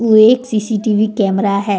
एक CCTV camera है।